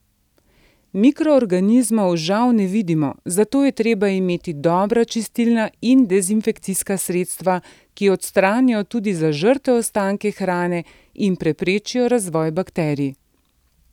Mikroorganizmov žal ne vidimo, zato je treba imeti dobra čistilna in dezinfekcijska sredstva, ki odstranijo tudi zažrte ostanke hrane in preprečijo razvoj bakterij.